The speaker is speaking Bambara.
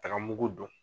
Tagamako don